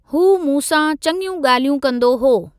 हू मूं सां चङियूं गा॒ल्हियूं कंदो हो।